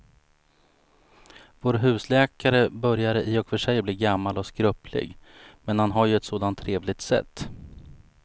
Vår husläkare börjar i och för sig bli gammal och skröplig, men han har ju ett sådant trevligt sätt!